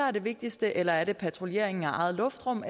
er det vigtigste eller er det patruljeringen af eget luftrum